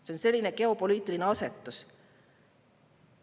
See on selline geopoliitiline asetus.